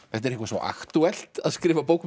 þetta er eitthvað svo aktúelt að skrifa bók